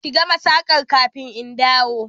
Ki gama saƙar kafin in dawo!